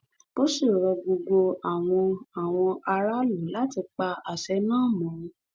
ó sì rọ gbogbo àwọn àwọn aráàlú láti pa àṣẹ náà mọ